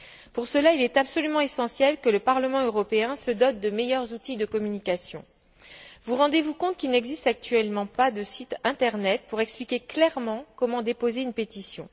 Pour cela, il est absolument essentiel que le Parlement européen se dote de meilleurs outils de communication. Vous rendez vous compte qu'il n'existe actuellement pas de site internet pour expliquer clairement comment déposer une pétition?